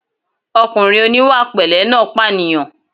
Ọkùnrin oníwàpẹ̀lẹ́ náà pànìyàn